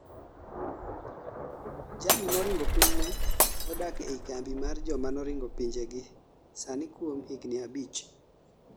jal moringo pinyne odak ei kambi mar joma noringo pinje gi sani kuom higni abich